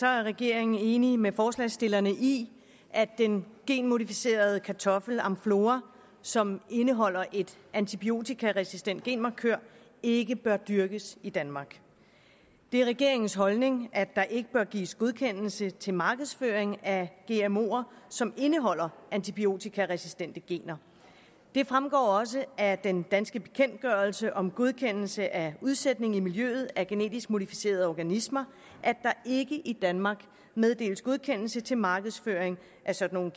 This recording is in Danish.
er regeringen enig med forslagsstillerne i at den genmodificerede kartoffel amflora som indeholder en antibiotikaresistent genmarkør ikke bør dyrkes i danmark det er regeringens holdning at der ikke bør gives godkendelse til markedsføring af gmoer som indeholder antibiotikaresistente gener det fremgår også af den danske bekendtgørelse om godkendelse af udsætning i miljøet af genetisk modificerede organismer at der ikke i danmark meddeles godkendelse til markedsføring af sådan